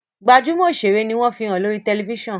gbajúmò òṣèré ní wón fihàn lórí tẹlifísàn.